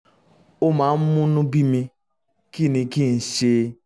ó máa ń múnú bíni kí ni kí n ṣe?